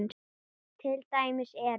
Til dæmis eru